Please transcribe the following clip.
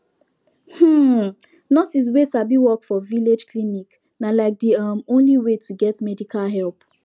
hmm nurse wey sabi work for village clinic na like de um only way to get medical help